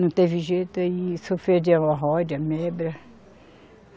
Não teve jeito e sofria de hemorroida, ameba.